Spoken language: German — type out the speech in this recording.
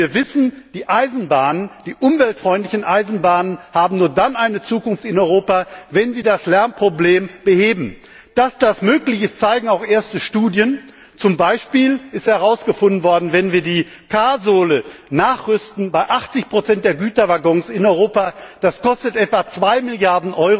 Denn wir wissen, die Eisenbahn die umweltfreundliche Eisenbahn habt nur dann eine Zukunft in Europa, wenn sie das Lärmproblem behebt. Dass das möglich ist, zeigen auch erste Studien. Zum Beispiel ist herausgefunden worden, wenn wir die K Sohle bei 80 der Güterwaggons in Europa nachrüsten, kostet das etwa 2